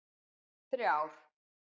þrjár